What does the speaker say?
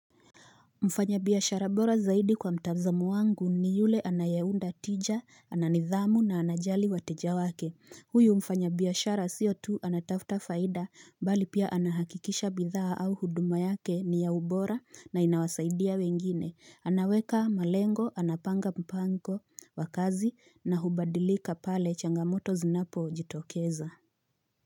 Mfanyabiashara bora zaidi kwa mtazamo wangu ni yule anayeunda tija, ananidhamu na anajali wateja wake Huyu mfanyabiashara sio tu anatafuta faida bali pia anahakikisha bidhaa au huduma yake ni ya ubora na inawasaidia wengine. Anaweka malengo, anapanga mpango wa kazi na hubadilika pale changamoto zinapojitokeza.